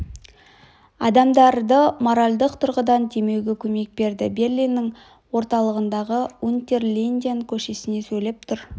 адамдарды моральдық тұрғыдан демеуге көмек берді берлиннің орталығындағы унтер линден көшесінен сөйлеп тұр